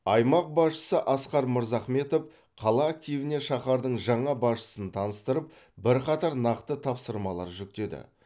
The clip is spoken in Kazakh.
аймақ басшысы асқар мырзахметов қала активіне шаһардың жаңа басшысын таныстырып бірқатар нақты тапсырмалар жүктеді